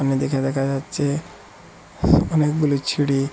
এদিকে দেখা যাচ্ছে অনেকগুলি ছিরি ।